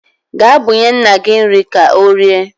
Ga bunye nna gi nri ka orie